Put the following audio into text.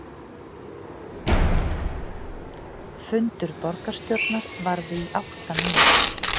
Fundur borgarstjórnar varði í átta mínútur